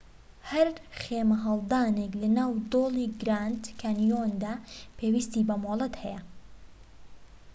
هەر خێمەهەڵدانێك لە ناو دۆڵی گراند کانیۆندا پێویستی بە مۆڵەت هەیە